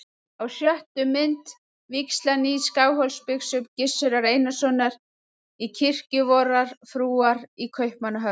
Á sjöttu mynd: vígsla nýs Skálholtsbiskups, Gizurar Einarssonar, í kirkju vorrar frúar í Kaupmannahöfn.